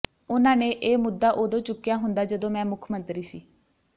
ਉਨ੍ਹਾਂ ਨੇ ਇਹ ਮੁੱਦਾ ਉੱਦੋਂ ਚੁੱਕਿਆ ਹੁੰਦਾ ਜਦੋਂ ਮੈਂ ਮੁੱਖ ਮੰਤਰੀ ਸੀ